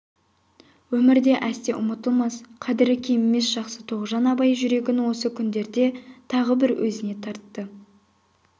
өмірде әсте ұмытылмас қадірі кемімес жақсы тоғжан абай жүрегін осы күндерде тағы да бір өзіне тартты